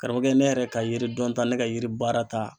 Karamɔgɔkɛ ne yɛrɛ ka yiri dɔn ta ne ka yiri baara ta